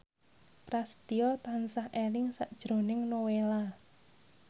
Prasetyo tansah eling sakjroning Nowela